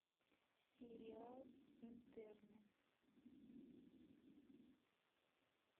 сериал интерны